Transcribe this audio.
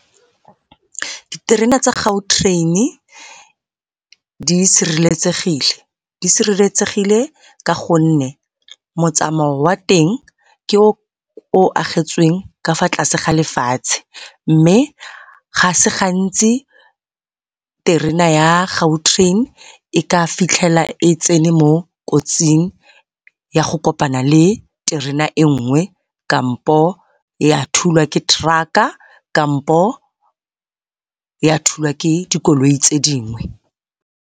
Diterena tsa Gautrain-i di sireletsegile, di sireletsegile ka gonne motsamao wa teng ke o o agetsweng ka fa tlase ga lefatshe, mme ga se gantsi terena ya Gautrain e ka fitlhela e tsene mo kotsing ya go kopana le terena e nngwe kampo ya thulwa ke truck-a kampo ya thulwa ke dikoloi tse dingwe.